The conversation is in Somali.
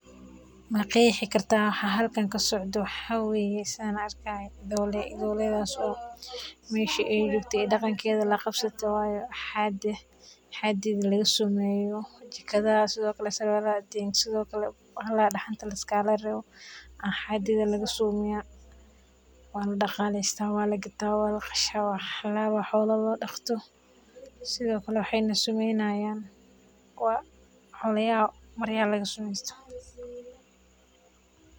Waxan halkan kasocda waxaweyan idholey, idholeydhaso meeshi aay jogto iyo dhagankedha lakabsatey way haadedha waxa lakasameyo sarwalaxa, jaqadha dahanta iyo waxyala kale, idholeydha wa ladhagdha , wala kasha iyo sithokale wala intifacsadha.